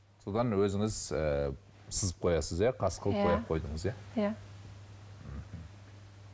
содан өзіңіз ыыы сызып қоясыз иә қас қылып бояп қойдыңыз иә иә мхм